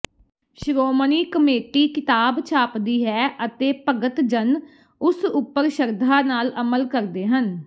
Shiromani committee ਕਿਤਾਬ ਛਾਪਦੀ ਹੈ ਅਤੇ ਭਗਤ ਜਨ ਉਸ ਉੱਪਰ ਸ਼ਰਧਾ ਨਾਲ ਅਮਲ ਕਰਦੇ ਹਨ